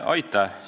Aitäh!